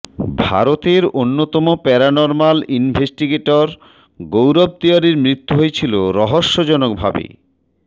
ভারতের অন্যতম paranormal investigator Gaurav তিওয়ারির মৃত্যু হয়েছিল রহস্যজনভাবে